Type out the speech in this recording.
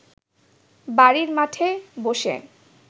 বাড়ির মাঠে বসে